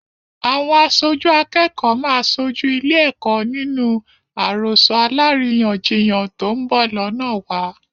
Àwọn aṣojú akẹ́kọ̀ọ́ máa sojú ilé-ẹ̀kọ́ nínú àròsọ alárìíyàn-jiyàn tó ń bọ̀ lọ́nàwa.